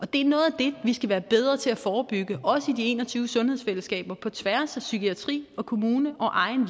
det er noget af det vi skal være bedre til at forebygge også i de en og tyve sundhedsfællesskaber på tværs af psykiatri kommune og egen